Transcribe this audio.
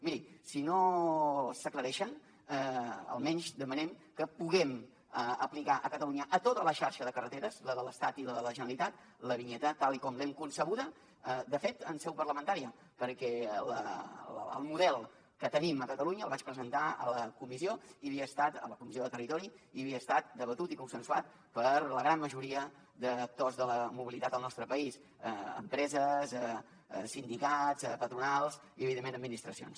miri si no s’aclareixen almenys demanem que puguem aplicar a catalunya a tota la xarxa de carreteres la de l’estat i la de la generalitat la vinyeta tal i com l’hem concebuda de fet en seu parlamentària perquè el model que tenim a catalunya el vaig presentar a la comissió i havia estat a la comissió de territori i havia estat debatut i consensuat per la gran majoria d’actors de la mobilitat al nostre país empreses sindicats patronals i evidentment administracions